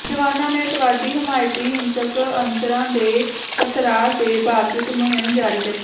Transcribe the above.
ਜਵਾਨਾਂ ਨੇ ਅੱਤਵਾਦੀ ਹਮਾਇਤੀ ਹਿੰਸਕ ਅਨਸਰਾਂ ਦੇ ਪਥਰਾਅ ਦੇ ਬਾਵਜੂਦ ਮੁਹਿੰਮ ਜਾਰੀ ਰੱਖੀ